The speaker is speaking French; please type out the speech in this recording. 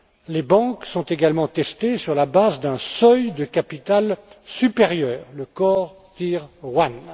Les banques sont également testées sur la base d'un seuil de capital supérieur, le core tier one